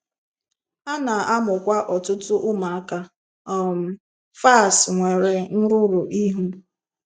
A na-amụkwa ọtụtụ ụmụaka um FAS nwere nrụrụ ihu.